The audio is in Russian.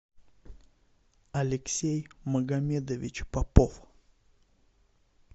алексей магамедович попов